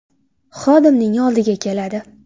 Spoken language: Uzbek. xodimning oldiga keladi.